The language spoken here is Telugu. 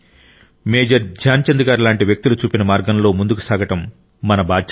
మేజర్ ధ్యాన్చంద్ గారి లాంటి వ్యక్తులు చూపిన మార్గంలో ముందుకు సాగడం మన బాధ్యత